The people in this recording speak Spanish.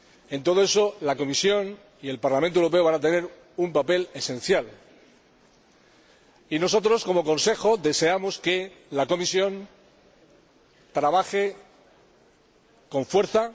En todo eso, la Comisión y el Parlamento Europeo van a tener un papel esencial y nosotros, como Consejo, deseamos que la Comisión trabaje con fuerza.